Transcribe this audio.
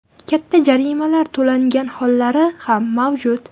Katta jarimalar to‘langan hollari ham mavjud.